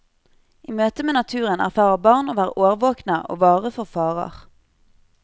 I møte med naturen erfarer barn å være årvåkne og vare for farer.